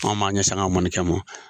Anw b'an ɲɛsin an ka mɔnikɛ ma.